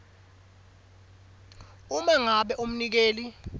uma ngabe umnikeli